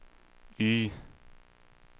Y